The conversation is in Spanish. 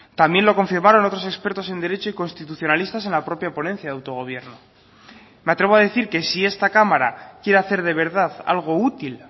también lo confirmaron otros expertos en derecho y constitucionalistas en la propia ponencia de autogobierno me atrevo a decir que si esta cámara quiere hacer de verdad algo útil